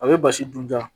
A bɛ basi dun ja